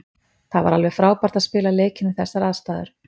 Það var alveg frábært að spila leikinn við þessar aðstæður.